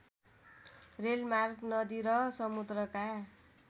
रेलमार्ग नदी र समुद्रका